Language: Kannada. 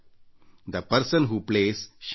ಆಡುವ ವ್ಯಕ್ತಿ ಹೊಳೆಯುತ್ತಾನೆ